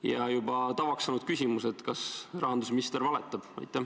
Ja juba tavaks saanud küsimus: kas rahandusminister valetab?